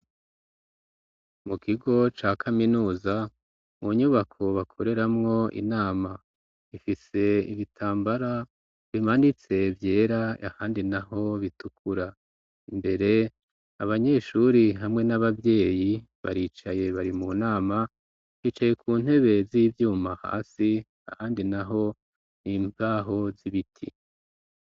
Mu kigo ca kaminuza mu nyubako bakoreramwo inama ifise igitambara bimanitse vyera ahandi na ho bitukura imbere abanyeshuri hamwe n'ababyeyi baricaye bari mu nama hicaye ku ntebezivyuma ma hasi handi na ho impaho z'ibiti.